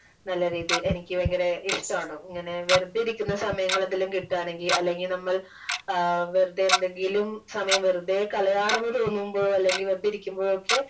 നല്ല രീതിയിൽ എനിക്ക് വയങ്കര ഇഷ്ടാണ് ഇങ്ങനെ വെറുതെ ഇരിക്കുന്ന സമയങ്ങൾ എന്തെങ്കിലും കിട്ടാണെങ്കിൽ അല്ലെങ്കിൽ നമ്മൾ വെറുതെ എന്തെങ്കിലും സമയം വെറുതെ കളയാണെന്ന് തോന്നുമ്പോൾ അല്ലെങ്കിൽ വെറുതെ ഇരിക്കുമ്പോഴൊക്കെ